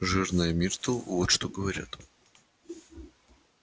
жирная миртл вот что говорят